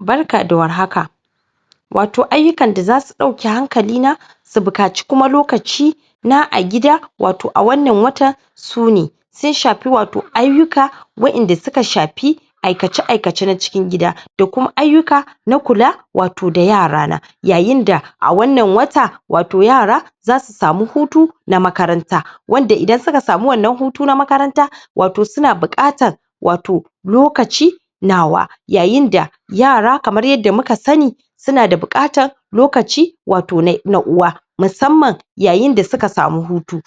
Barka da warhaka, wato ayyukan da zasu ɗauki hankali na su buƙaci kuma lokaci na a gida wato a.wannan watan sune, sun shafi wato ayyuka waɗanda suka shafi aikace- aikace na cikin gida da kuma ayyuka na kula da wato yarana yayin da a wannan wata wato yara zasu samu hutuna makaranta wanda idan suka samu wannan Hutu na makaranta wato suna buƙatar wato lokaci nawa yayin da yara kamar yadda muka sani suna da buƙatar lokaci na musammman yayinda suka samu hutu,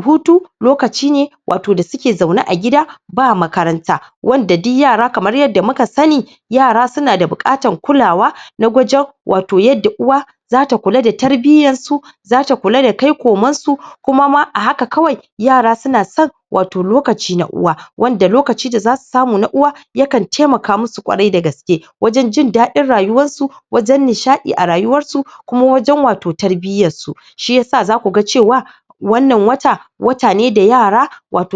hutu lokaci ne wato da suke zaune a gida ba makaranta, ba makaranta, wanda duk yara kamar yadda muka sani,, wanda duk yara kamar yadda muka sani, yara suna da buƙatar kulawa na wajen wato yadda uwa zata kula da tarbiyyarsu zata kula da kai komansu kuma ma a haka kawai yara suna son wato lokaci na uwa, wanda lokaci da zasu samu na uwa ,yakan taimaka musu kwarai da gaske wajen jin dadin rayuwar su ajen nishaɗi a rayuwarsu da kuma wato wajen tarbiyyar su shiyasa zakuga cewa wannan wata, wata ne da yara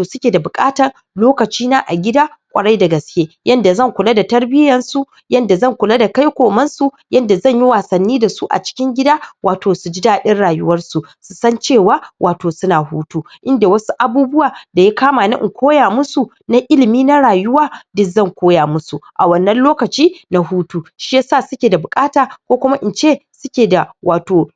suke da buƙatar lokaci na a gida kwarai da gaske yadda zan kula da tarbiyyar su adda zan kula da kai kumansu yadda zanyi wasanni zasu a cikin gida, wato suji dadin rayuwarsu susan cewa wato suna hutu, inda wash abubuwa daya kama na in koya musu na ilimi na rayuwa duk zan koya musu a wannan lokaci na hutu, shiyasa suke da buƙata ko kuma ince suke da wato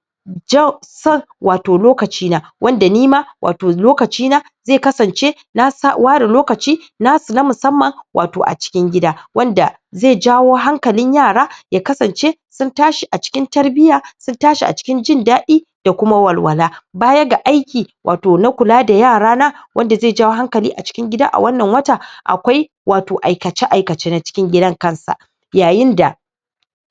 son wato lokaci na wanda nima wato lokaci na zai kasan ce na ware lokaci nasu na musamman wato a cikin gida wanda ze jawo hankalin yara ya kasance sun tashi a cikin tarbiyya sun tashi a cikin jin daɗi da kuma walwala, ,baya ga wato aiki na kula da yara na, wanda ze jawo hankali a cikin gida a wannan wata akwai wato aikace- aikace a cikin gidan kansa yayin da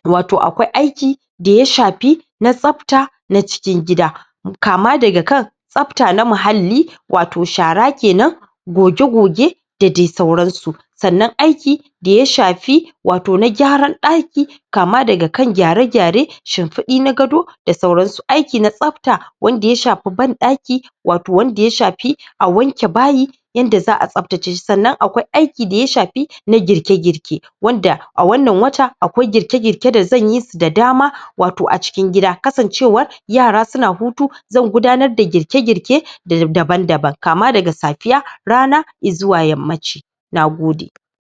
wato akwai daya shafi na tsafta na cikin gida kama daga kan tsafta na muhalli wato shara kenan, goge-goge da dai sauransu sannan aiki daya shafi wato na gyaran daki kama daga kan gyare-gyaren shimfiɗi na gado da sauransu, aiki na tsafta wanda ya banɗaki wato wanda ya shafi a wanke bayi yanda zaʼa tsaftace shi sannan akwai aiki daya shafi na girke- girke wanda a wannan wata akwai girke-girke da zan yisu da dama wato a cikin gida kasan cewa yara suna hutu zan gudanar da girke-girke daban-daban kama daga safiya, rana, izuwa yammaci Nagode.